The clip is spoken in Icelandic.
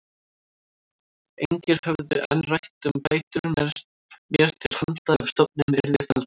Engir höfðu enn rætt um bætur mér til handa ef stofninn yrði felldur.